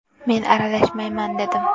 Men aralashmayman dedim.